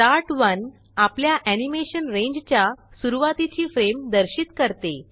start ओने आपल्या animation रेंजच्या सुरवातीची फ्रेम दर्शित करते